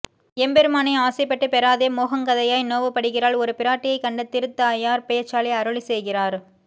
எம்பெருமானை ஆசைப் பட்டு பெறாதே மோஹங்கதையாய் நோவு படுகிறாள் ஒரு பிராட்டியைக் கண்ட திருத் தாயார் பேச்சாலே அருளிச் செய்கிறார்